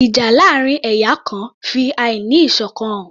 Ìjà láàrin ẹ̀yà kan fi àí ní ìṣọ̀kan hàn